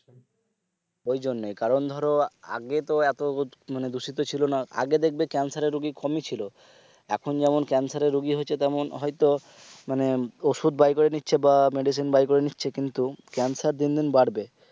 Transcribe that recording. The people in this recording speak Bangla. ঐজন্যই কারণ ধরো আগে তো এতো মানে দূষিত ছিলোনা আগে দেখবে cancer এর রুগী কমি ছিল এখন যেমন cancer এর রুগী হচ্ছে তেমন হয়তো মানে ওষুধ buy করে নিচ্ছে বা medicine Buy করে নিচ্ছে কিন্তু cancer দিনদিন বাড়বে